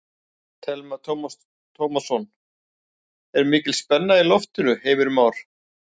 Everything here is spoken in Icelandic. Telma Tómasson: Er mikil spenna í loftinu Heimir Már?